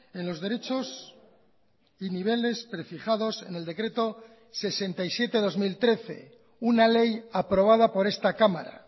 en los derechos y niveles prefijados en el decreto sesenta y siete barra dos mil trece una ley aprobada por esta cámara